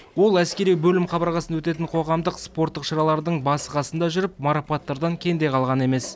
ол әскери бөлім қабырғасында өтетін қоғамдық спорттық шаралардың басы қасында жүріп марапаттардан кенде қалған емес